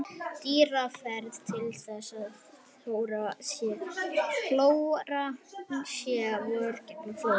Dýrafræðingar telja að þessir hólar sé vörn gegn flóðum.